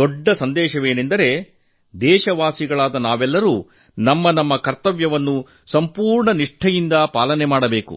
ದೊಡ್ಡ ಸಂದೇಶವೆಂದರೆ ದೇಶವಾಸಿಗಳಾದ ನಾವೆಲ್ಲರೂ ನಮ್ಮ ಕರ್ತವ್ಯವನ್ನು ಪೂರ್ಣ ನಿಷ್ಠೆಯಿಂದ ಪಾಲಿಸಬೇಕು